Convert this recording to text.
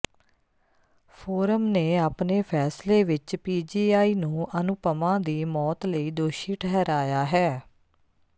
form ਨੇ ਆਪਣੇ ਫੈਸਲੇ ਵਿਚ ਪੀਜੀਆਈ ਨੂੰ ਅਨੂਪਮਾ ਦੀ ਮੌਤ ਲਈ ਦੋਸ਼ੀ ਠਹਿਰਾਇਆ ਹੈ